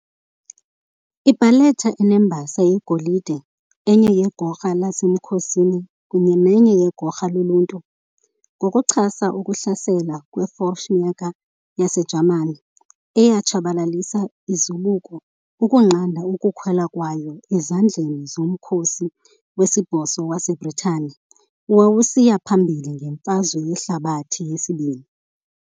I-Barletta inembasa yegolide enye yegorha lasemkhosini kunye nenye yegorha loluntu, ngokuchasa ukuhlasela kwe-Fallschirmjäger yaseJamani eyatshabalalisa izibuko ukunqanda ukuwela kwayo ezandleni zoMkhosi weSibhozo waseBritane owawusiya phambili ngeMfazwe Yehlabathi II.